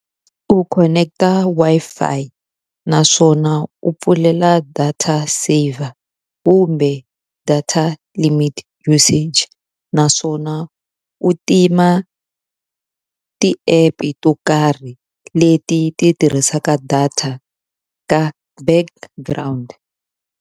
U khoneketa Wi-Fi naswona u pfulela data saver kumbe data limit usage. Naswona swona u tima u ti-app-e to karhi leti ti tirhisaka data eka background.